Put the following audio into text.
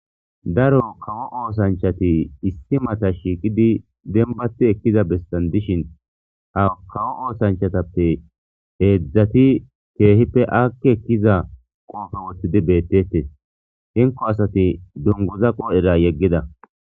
daro kawo oosanchati issi mata shiiqidi denbati ekkiza bessan dishin kawo oosanchatappe heedzdzati keehippe akke ekkiza qoofe woththidi beettetes hinko asati dunguza qoodhera yeggida